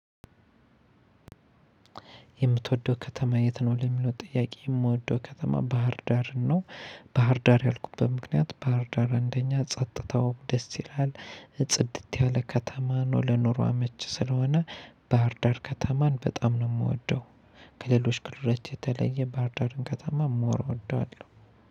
የምትወደው ከተማ የት? ነው ለሚለው ጥያቄ የምወደው ከተማ ባህርዳርን ነው። ባህርዳር ያልኩበት ምክንያት ባህርዳር አንደኛ ጸጥታው ደስ ይላል እ ጽድት ያለ ከተማ ነው ለኑሮ አመቺ ስለሆነ። ባህርዳር ከተማን በጣም ነው የምወደው። ከሌሎች ክልሎች የተለየ ባህርዳርን ከተማ ሞር እወደዋለሁ